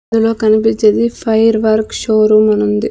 ఇందులో కనిపించేది fire work showroom అని ఉంది.